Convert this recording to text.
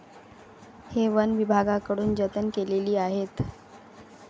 हे वनविभागाकडून जतन केलेली आहेत.